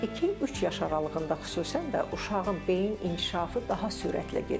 İki-üç yaş aralığında xüsusən də uşağın beyin inkişafı daha sürətlə gedir.